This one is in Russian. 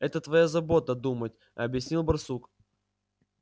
это твоя забота думать объяснил барсук